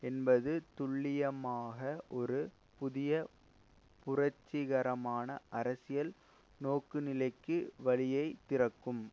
என்பது துல்லியமாக ஒரு புதிய புரட்சிகரமான அரசியல் நோக்குநிலைக்கு வழியை திறக்கும்